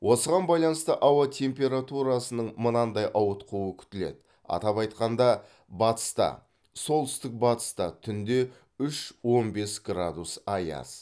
осыған байланысты ауа температурасының мынадай ауытқуы күтіледі атап айтқанда батыста солтүстік батыста түнде үш он бес градус аяз